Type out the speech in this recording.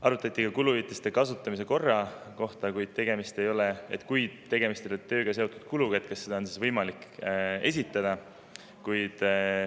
Arutati ka kuluhüvitiste kasutamise korda: kui tegemist ei ole tööga seotud kuluga, siis kas seda on võimalik esitada.